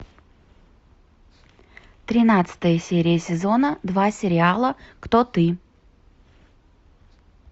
тринадцатая серия сезона два сериала кто ты